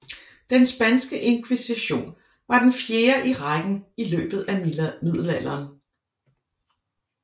Den spanske inkvisition var den fjerde i rækken i løbet af Middelalderen